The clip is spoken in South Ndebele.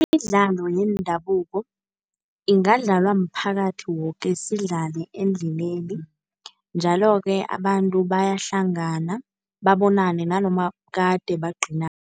Imidlalo yendabuko ingadlalwa mphakathi woke sidlale endleleni. Njalo-ke abantu bayahlangana babonane nanoma kade bagcinana.